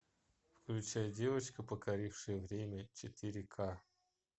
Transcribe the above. включай девочка покорившая время четыре ка